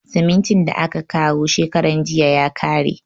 Simintin da aka kawo shekaran jiya ya kare.